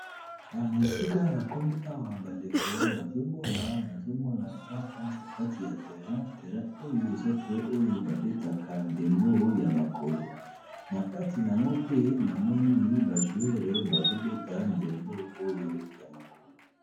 Awa, esika na komi awa bandeko, nazomona na kantier kati ya terrain. Terrain oyo eza terrain oyo babetaka ndembo ya makolo. Na kati nango pe na moni ba jouer bazo beta ndembo oyo ya makolo.